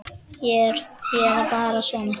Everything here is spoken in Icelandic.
Ég er bara svona.